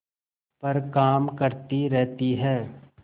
पर काम करती रहती है